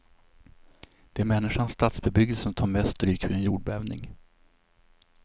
Det är människans stadsbebyggelse som tar mest stryk vid en jordbävning.